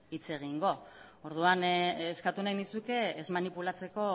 hitz egingo orduan eskatu nahi nizuke ez manipulatzeko